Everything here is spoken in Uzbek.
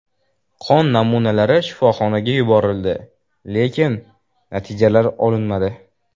Qon namunalari shifoxonaga yuborildi, lekin natijalar olinmadi.